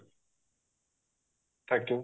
thank you